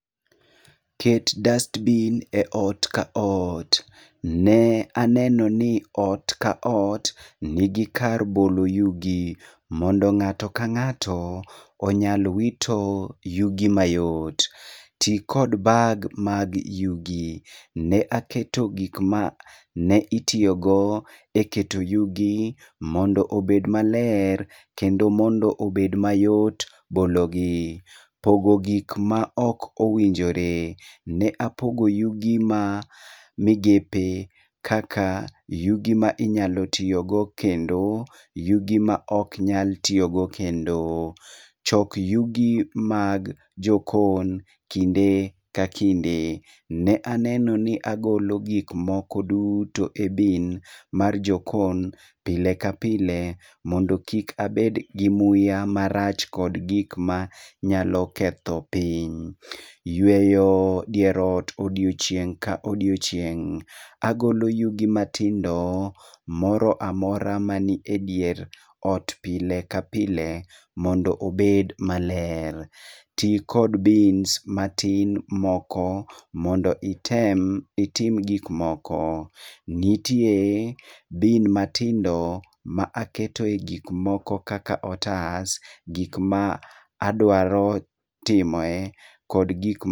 Ket dustbin e ot ka ot. Ne aneno ni ot ka ot nigi kar bolo yugi, mondo ng'ato ka ng'ato onyal wito yugi mayot. Ti kod bag mag yugi, ne aketo gik ma ne itiyo go e keto yugi mondo obed maler kendo mondo obed mayot bolo gi. Pogo gik ma ok owinjore. Ne apogo yugi ma migepe kaka yugi ma inyalo tiyo go kendo, yugi ma oknyal tiyo go kendo. Chok yugi mag jokon kinde ka kinde. Ne aneno ni agolo gik moko duto e bin mar jokon, pile ka pile, mondo kik abed gi muya marach kod gik ma nyalo ketho piny. Yweyo dier ot odiochieng' ka odiochieng'. Agolo yugi matindo, moroamora mani e dier ot pile ka pile mondo ober maler. Ti kod bins matin moko mondo item itim gik moko. Nitie bin matindo ma aketo e gik moko kaka otas, gik ma adwaro timoe kod gik.